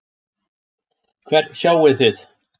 Hvern sjáið þið?